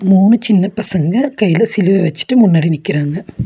மூணு சின்ன பசங்க கைல சிலுவை வெச்சுட்டு முன்னாடி நிக்கிறாங்க.